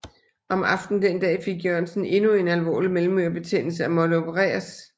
Om aftenen den dag fik Jørgensen endnu en alvorlig mellemørebetændelse og måtte opereres